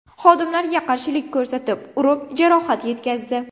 xodimlarga qarshilik ko‘rsatib, urib, jarohat yetkazdi.